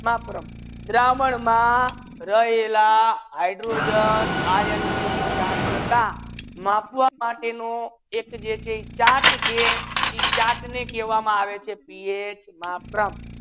માતરમ બ્રહ્મ મા રહેલા હાઇડ્રોજન આયન ની થરંગતા માપવા માતે નુ ચેટ છે જે છે એ ચાર્ટ છે ઇ ચાર્ટ ને કેહવામા આવે છે પીએચ માતરમ